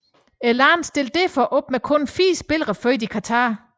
Landet stillede derfor op med kun fire spillere født i Qatar